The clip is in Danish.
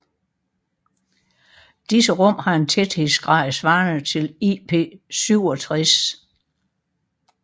Disse rum har en tæthedsgrad svarende til IP67